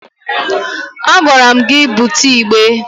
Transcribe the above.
A gwara m gị bute igbe!